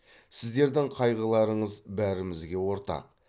сіздердің қайғыларыңыз бәрімізге ортақ